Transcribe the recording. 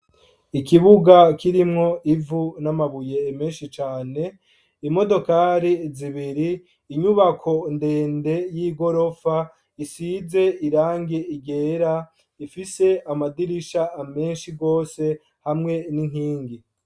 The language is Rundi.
Ikibuga kirimwo ivu n' amabuye menshi cane, imodokari zibiri, inyubako ndende y' igorofa, isize irangi ryera, ifise amadirisha menshi gose hawe n' inkingi.